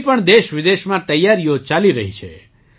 તેની પણ દેશવિદેશમાં તૈયારીઓ ચાલી રહી છે